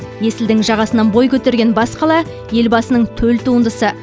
есілдің жағасынан бой көтерген бас қала елбасының төл туындысы